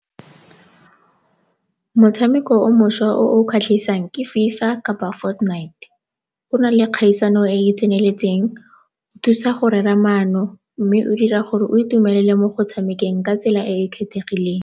Motshameko o mošwa o o kgatlhisang ke FIFA kapa o na le kgaisano e e tseneletseng, o thusa go rera maano mme o dira gore o itumelele mo go tshamekeng ka tsela e e kgethegileng.